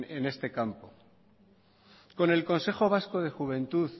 en este campo con el consejo vasco de juventud